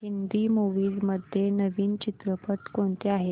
Hindi movies मध्ये नवीन चित्रपट कोणते आहेत